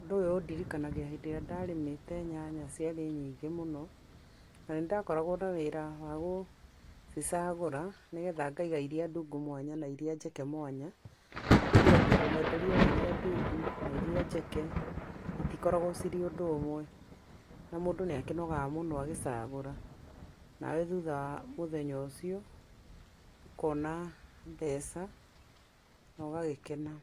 Ũndũ ũyũ ũndirikanagia hĩndĩ ĩrĩa ndarĩmĩte nyanya ciarĩ nyingĩ mũno, na nĩ ndakoragwo na wĩra wa gũcicagũra nĩ getha ngaiga iria ndungu mwanya, na iria njeke mwanya, nĩ tondũ mwenderio wa iria ndungu, na iria njeke, itikoragwo cirĩ ũndũ ũmwe, na mũndũ nĩ akĩnogaga mũno agĩcagũra, nawe thutha wa mũthenya ũcio, ũkona mbeca, no gagĩkena.